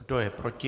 Kdo je proti?